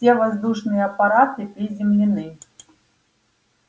все воздушные аппараты приземлены